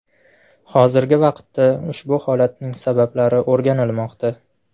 Hozirgi vaqtda ushbu holatning sabablari o‘rganilmoqda.